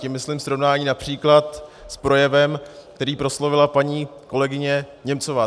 Tím myslím srovnání například s projevem, který proslovila paní kolegyně Němcová.